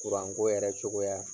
ko yɛrɛ cogoya